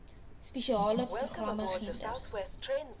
spesiale programme gender